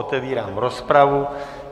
Otevírám rozpravu.